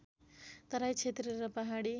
तराई क्षेत्र र पहाडी